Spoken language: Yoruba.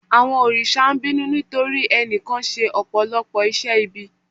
Àwọn òrìṣà ń bínú nítorí ẹnìkan ṣe Ọ̀pọ̀lọ́pọ̀ iṣẹ́ ibi.